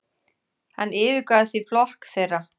Hann yfirgaf því flokk þeirra.